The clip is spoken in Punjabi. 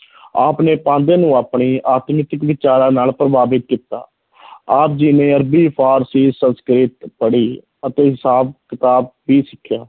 ਆਪ ਨੇ ਪਾਂਧੇ ਨੂੰ ਆਪਣੇ ਵਿਚਾਰਾਂ ਨਾਲ ਪ੍ਰਭਾਵਿਤ ਕੀਤਾ ਆਪ ਜੀ ਨੇ ਅਰਬੀ, ਫ਼ਾਰਸੀ, ਸੰਸਕ੍ਰਿਤ ਪੜ੍ਹੀ ਅਤੇ ਹਿਸਾਬ-ਕਿਤਾਬ ਵੀ ਸਿਖਿਆ।